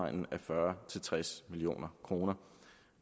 fyrre til tres million kroner